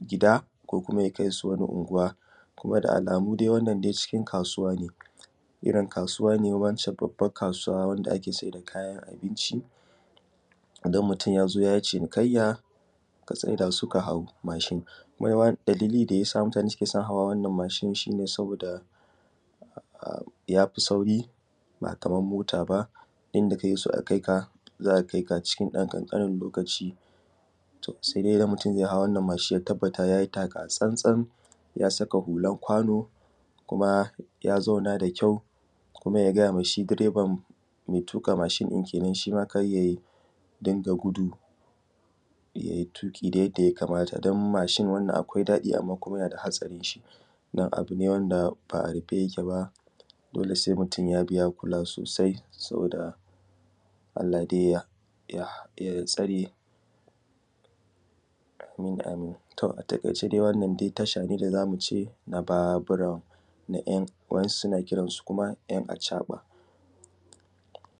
gida ko kuma ya kaisu wata anguwa. Kuma da alamu dai wanna dai cikin kasuwa ne irrin kasuwa ne babban kasuwa wanda ake saida kayan abinci. Idan yazo yayi cinikyayya sai katsai dasu kahau mashin, mahiyawa da yasa jama’a suke hawa wannan mashin sabida yafi sauri ba Kaman mota ba, inda kake so a kaika za’a kaika cikin ɗan ƙaramin lokaci. Sai dai idan mutun yahau wannan mashin ya tabbata yayi taka tsantsan yasa hulan kwano kuma ya zauna da kyau kuma ya gayama shi direban mai tuƙa mashin ɗin kenan shima karya rinƙa gudu yai tuƙi dai yadda ya kamata dan mashin wannan akwai daɗi amma kuma yanada hatsarinshi. Ba abune wanda a rufe yake ba dole sai mutun ya kula sosai saboda Allah dai ya tsare amin amin, a taiƙaice wannan dai tashace da zamuce na Babura wa ‘yan’ su na kiransu ‘yan’ acaɓa.